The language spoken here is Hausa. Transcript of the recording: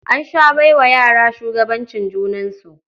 An sha bai wa yara shugabancin junansu.